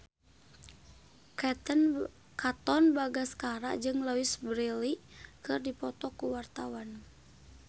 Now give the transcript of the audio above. Katon Bagaskara jeung Louise Brealey keur dipoto ku wartawan